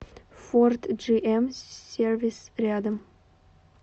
форд джиэм сервис рядом